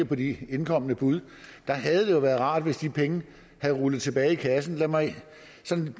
på de indkomne bud der havde det jo været rart hvis de penge var rullet tilbage i kassen lad mig